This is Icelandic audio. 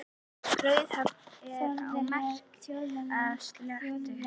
Raufarhöfn er á Melrakkasléttu.